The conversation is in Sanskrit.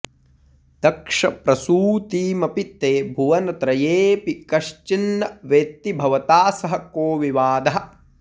दक्षप्रसूतिमपि ते भुवनत्रयेऽपि कश्चिन्न वेत्ति भवता सह को विवादः